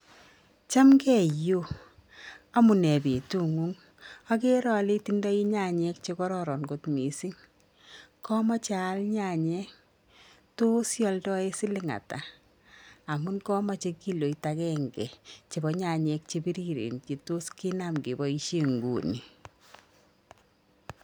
Chamgee iyoo omunee betu nguny okere ole itindoi nyanyek chekororon kot missing komoche aal nyanyek tos ioldoen siling atak, amun komoche kiloit agenge chebo nyanyek chebiriren chetos kinam keboishen inguni